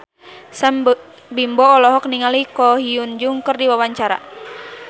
Sam Bimbo olohok ningali Ko Hyun Jung keur diwawancara